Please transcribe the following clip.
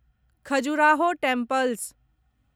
Khajuraho temples